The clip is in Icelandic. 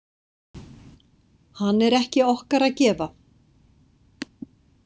Hann er ekki okkar að gefa.